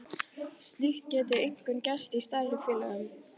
Slíkt gæti einkum gerst í stærri félögum.